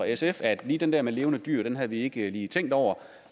sf at lige den der med levende dyr havde vi ikke lige tænkt over